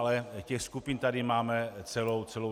Ale těch skupin tady máme celou řadu.